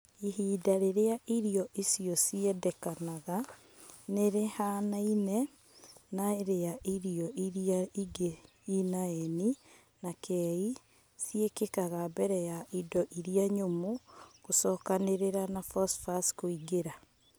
Ihinda rĩrĩa irio icio ciendekanaga nĩ rĩhaanaine na rĩa irio iria ingĩ ina N na K ciĩkĩkaga mbere ya indo iria nyũmũ gũcokanĩrĩra na phosphorus kũingĩra.